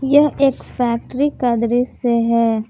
यह एक फैक्ट्री का दृश्य है।